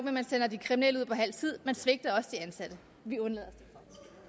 at man sender de kriminelle ud på halv tid man svigter også de ansatte vi undlader